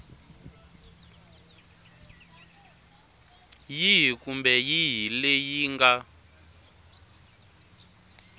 yihi kumbe yihi leyi nga